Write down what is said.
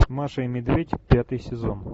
маша и медведь пятый сезон